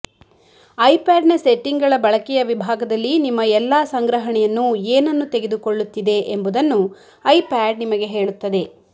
ಐಪ್ಯಾಡ್ನ ಸೆಟ್ಟಿಂಗ್ಗಳ ಬಳಕೆಯ ವಿಭಾಗದಲ್ಲಿ ನಿಮ್ಮ ಎಲ್ಲಾ ಸಂಗ್ರಹಣೆಯನ್ನು ಏನನ್ನು ತೆಗೆದುಕೊಳ್ಳುತ್ತಿದೆ ಎಂಬುದನ್ನು ಐಪ್ಯಾಡ್ ನಿಮಗೆ ಹೇಳುತ್ತದೆ